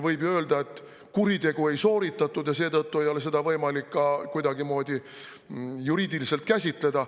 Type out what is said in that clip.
Võib ju öelda, et kuritegu ei sooritatud ja seetõttu ei ole seda võimalik ka kuidagimoodi juriidiliselt käsitleda.